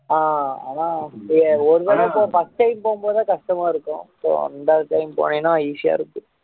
ஆஹ் ஆனா நீங்க ஒரு தடவை போகும் போது first time போகும் போது கஷ்டமா இருக்கும் இப்போ ரெண்டாவது time போனீயன்னா easy யா இருக்கும்